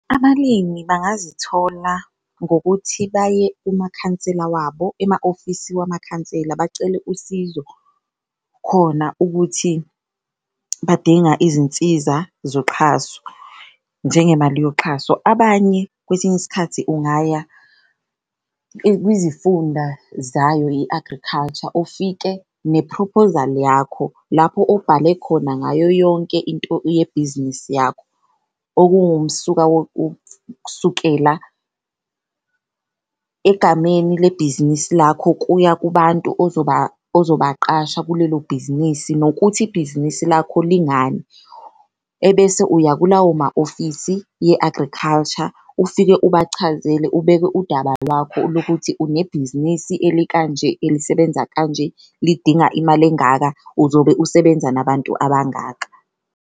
Abalimi bangazithola ngokuthi baye emakhansela wabo ema-ofisi wamakhansela bacele usizo khona, ukuthi badinga izinsiza zoxhaso njengemali yomxhaso. Abanye kwesinye isikhathi ungaya kwizifunda zayo i-agriculture ufike nephrophozali yakho lapho obhale khona ngayo yonke into yebhizinisi yakho, okuwumsuka wokusukela egameni lebhizinisi lakho, kuya kubantu ozobaqasha kulelo bhizinisi nokuthi ibhizinisi lakho lingani. Ebese uya kulawo ma-ofisi ye-agriculture, ufike ubachazele ubeke udaba lwakho lokuthi unebhizinisi elikanje, elisebenza kanje, lidinga imali engaka, uzobe usebenza nabantu abangaka.